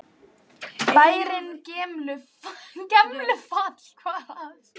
Bærinn Gemlufall.